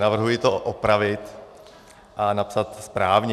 Navrhuji to opravit a napsat správně.